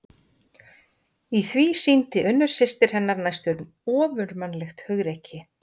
Í því sýndi Unnur systir hennar næstum ofurmannlegt hugrekki.